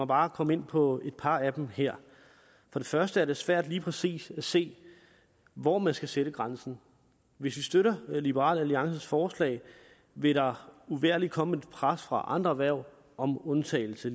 bare komme ind på et par af dem her for det første er det svært lige præcis at se hvor man skal sætte grænsen hvis vi støtter liberal alliances forslag vil der uvægerligt ligeledes komme et pres fra andre erhverv om undtagelse